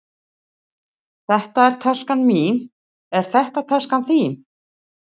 Þetta er taskan mín. Er þetta taskan þín?